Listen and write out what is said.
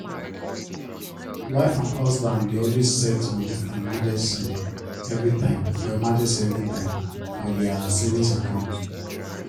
wife and husband dey always set moni for emergency everytime for emergency everytime for their savings account